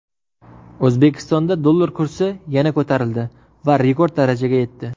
O‘zbekistonda dollar kursi yana ko‘tarildi va rekord darajaga yetdi.